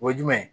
O ye jumɛn ye